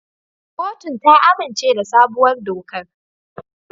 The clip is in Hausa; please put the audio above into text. Kotun ta amince da sabuwar dokar.